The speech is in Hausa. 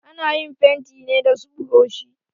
Ana yin fenti ne da su buroshi.